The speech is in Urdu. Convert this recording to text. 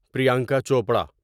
پریانکا چوپڑا